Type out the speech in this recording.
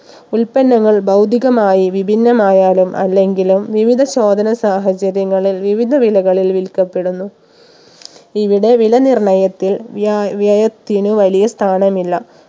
ഉൽപ്പന്നങ്ങൾ ഭൗതികമായി വിഭിന്നമായാലും അല്ലെങ്കിലും വിവിധ ചോദന സാഹചര്യങ്ങളിൽ വിവിധ വിലകളിൽ വിൽക്കപ്പെടുന്നു ഇവിടെ വില നിർണ്ണയത്തിൽ വ്യായ വ്യയത്തിന് വലിയ സ്ഥാനമില്ല